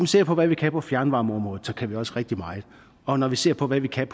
ser på hvad vi kan på fjernvarmeområdet så kan vi også rigtig meget og når vi ser på hvad vi kan